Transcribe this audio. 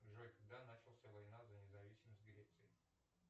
джой когда начался война за независимость греции